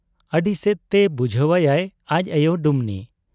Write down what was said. ᱟᱹᱰᱤᱥᱮᱫ ᱛᱮ ᱵᱩᱡᱷᱟᱹᱣ ᱟᱭᱟᱭ ᱟᱡ ᱟᱭᱚ ᱰᱩᱢᱱᱤ ᱾